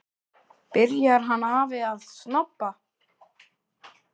Byrjar hann afi að snobba!